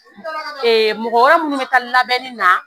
Mɔgɔ wɛrɛ minnu bɛ taa labɛnni na